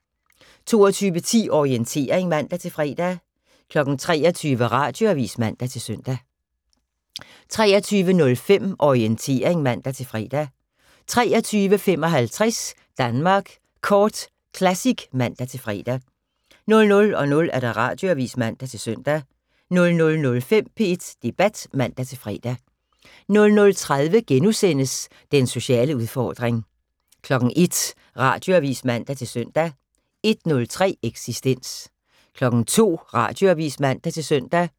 22:10: Orientering (man-fre) 23:00: Radioavis (man-søn) 23:05: Orientering (man-fre) 23:55: Danmark Kort Classic (man-fre) 00:00: Radioavis (man-søn) 00:05: P1 Debat (man-fre) 00:30: Den sociale udfordring * 01:00: Radioavis (man-søn) 01:03: Eksistens 02:00: Radioavis (man-søn)